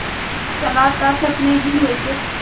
तू तो चला था सपने ही लेके